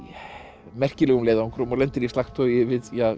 merkilegum leiðöngrum og lendir í slagtogi við